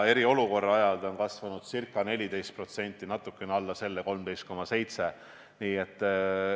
Eriolukorra ajal on see kasvanud ca 14%, natuke alla selle – 13,7%.